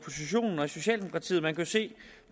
socialdemokratiet man kan se